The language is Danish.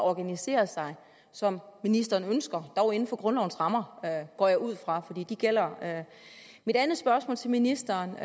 at organisere sig som ministeren ønsker dog inden for grundlovens rammer går jeg ud fra for de gælder mit andet spørgsmål til ministeren